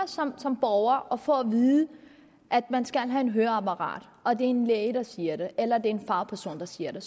som borger og får at vide at man skal have et høreapparat og det er en læge der siger det eller det er en fagperson der siger det